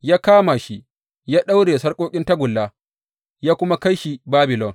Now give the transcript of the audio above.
Ya kama shi, ya daure da sarƙoƙin tagulla, ya kuma kai shi Babilon.